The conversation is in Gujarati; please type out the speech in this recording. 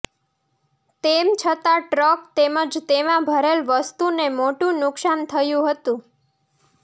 તેમ છતાં ટ્રક તેમજ તેમાં ભરેલ વસ્તુને મોટુ નુકશાન થયુ હતું